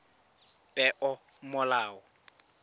peomolao